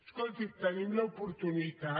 escolti en tenim l’oportunitat